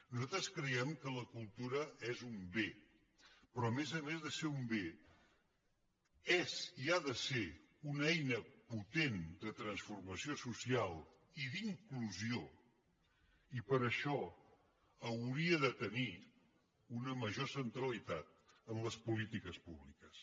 nosaltres creiem que la cultura és un bé però que a més a més de ser un bé és i ho ha de ser una eina potent de transformació social i d’inclusió i per això hauria de tenir una major centralitat en les polítiques públiques